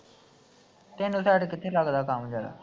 ਤੈਨੂੰ ਕੰਮ ਜ਼ਿਆਦਾ